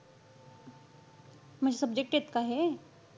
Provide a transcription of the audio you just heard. म्हणजे subjects आहेत का हे?